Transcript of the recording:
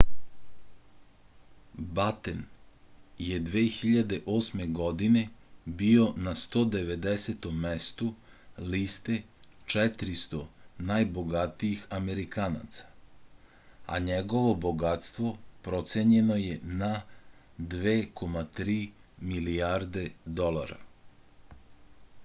baten je 2008. godine bio na 190. mestu liste 400 najbogatijih amerikanaca a njegovo bogatstvo procenjeno je na 2,3 milijarde dolara